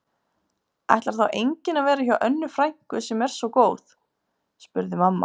Ætlar þá enginn að vera hjá Önnu frænku sem er svo góð? spurði mamma.